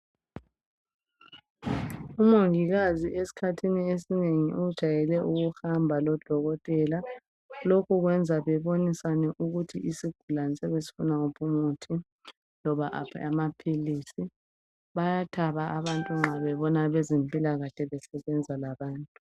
Umongikazi esikhathini esinengi ujayele ukuhamba lodokotela. Lokho kwenza bebonisane ukuthi isigulane siyabe sifuna uphi umuthi loba aphi amaphilisi. Bayathaba abantu nxa bebona abezempilakahle besebenza labantu.